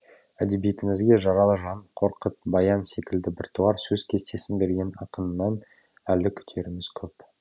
әдебиетімізге жаралы жан қорқыт баян секілді біртуар сөз кестесін берген ақыннан әлі күтеріміз көп